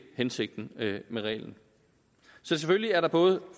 hensigten med reglen så selvfølgelig er der både